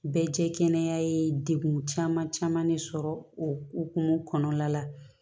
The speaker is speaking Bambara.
Bɛɛ jɛ kɛnɛ ye degun caman caman de sɔrɔ o hukumu kɔnɔna la